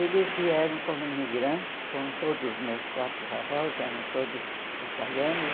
Eles vieram como imigrantes, como todos os meus quatro avós, eram todos italianos.